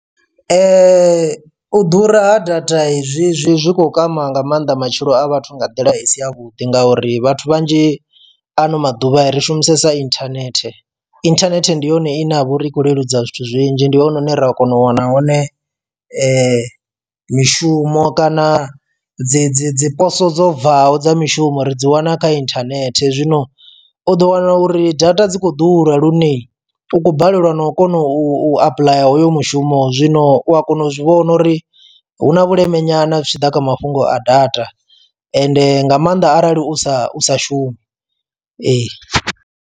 U ḓura ha data izwi zwi zwi khou kwama nga mannḓa matshilo a vhathu nga nḓila i si ya vhuḓi ngauri vhathu vhanzhi ano maḓuvha ri shumisesa inthanethe. Inthanethe ndi yone ine ya vha uri i khou leludza zwithu zwinzhi ndi hone hune ra kona u wana hone mishumo kana dzi dzi dzi poso dzo bvaho dza mishumo ri dzi wana kha inthanethe. Zwino u ḓo wana uri data dzi khou ḓura lune u khou balelwa na u kona u apuḽaya hoyo mushumo zwino u a kona u zwi vhona uri hu na vhuleme nyana zwi tshi ḓa kha mafhungo a data ende nga maanḓa arali u sa u sa shumi ee.